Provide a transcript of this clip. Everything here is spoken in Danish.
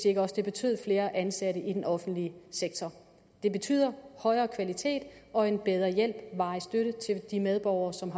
ikke også betød flere ansatte i den offentlige sektor det betyder højere kvalitet og en bedre hjælp varig støtte til de medborgere som